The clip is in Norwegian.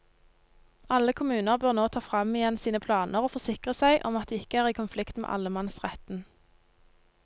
Alle kommuner bør nå ta frem igjen sine planer og forsikre seg om at de ikke er i konflikt med allemannsretten.